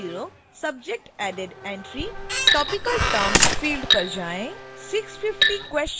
650 subject added entrytopical term field पर जाएँ